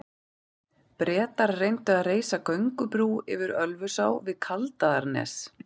Bretar reyndu að reisa göngubrú yfir Ölfusá við Kaldaðarnes.